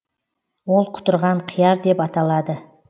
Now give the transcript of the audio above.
ол құтырған қияр деп аталады